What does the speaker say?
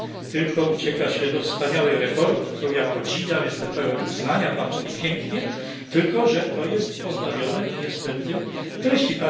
tylko ucieka się do wspaniałej retoryki, którą ja podziwiam i jestem pełen uznania Pan mówi pięknie tylko że to jest pozbawione niestety treści.